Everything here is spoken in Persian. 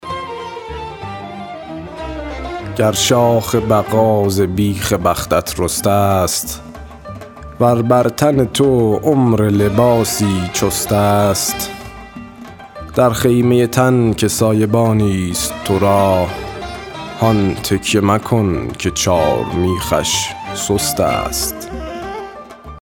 گر شاخ بقا ز بیخ بختت رسته ست ور بر تن تو عمر لباسی چست است در خیمه تن که سایبانی ست تو را هان تکیه مکن که چارمیخش سست است